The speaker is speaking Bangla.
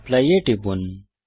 অ্যাপলি এ টিপুন